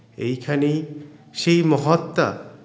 এইখানেই সেই মহাত্মা